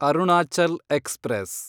Arunachal express